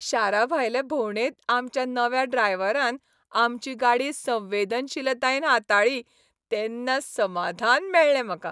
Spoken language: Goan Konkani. शाराभायले भोंवडेंत आमच्या नव्या ड्रायव्हरान आमची गाडी संवेदनशीलतायेन हाताळ्ळी तेन्ना समाधान मेळ्ळें म्हाका.